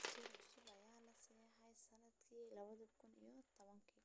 Dastuur cusub ayaa la ansixiyay sannadkii laba kun iyo tobankii.